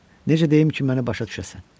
Necə deyim ki, məni başa düşəsən?